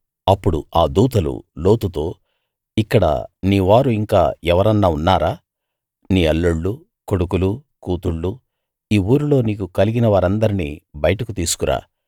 అప్పుడు ఆ దూతలు లోతుతో ఇక్కడ నీ వారు ఇంకా ఎవరన్నా ఉన్నారా నీ అల్లుళ్ళూ కొడుకులూ కూతుళ్ళూ ఈ ఊరిలో నీకు కలిగినవారందర్నీ బయటకు తీసుకురా